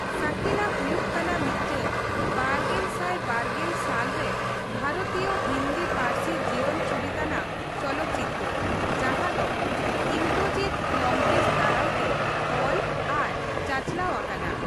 ᱥᱟᱠᱤᱞᱟ ᱦᱩᱭᱩᱜ ᱠᱟᱱᱟ ᱢᱤᱫᱴᱟᱝ ᱵᱟᱨᱜᱮᱞ ᱥᱟᱭ ᱵᱟᱨᱜᱮᱞ ᱥᱟᱞ ᱨᱮ ᱵᱷᱟᱨᱚᱛᱤᱭᱚ ᱦᱤᱱᱫᱤ ᱯᱟᱹᱨᱥᱤ ᱡᱤᱭᱚᱱ ᱪᱩᱨᱤᱛ ᱟᱱᱟᱜ ᱪᱚᱞᱚᱛᱪᱤᱛᱟᱹᱨ ᱡᱟᱦᱟᱸ ᱫᱚ ᱤᱱᱫᱨᱚᱡᱤᱛ ᱞᱚᱝᱠᱮᱥ ᱫᱟᱨᱟᱭ ᱛᱮ ᱚᱞ ᱟᱨ ᱪᱟᱪᱟᱞᱟᱣ ᱟᱠᱟᱱᱟ ᱾